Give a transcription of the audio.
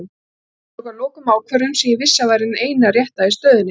Ég tók að lokum ákvörðun sem ég vissi að væri hin eina rétta í stöðunni.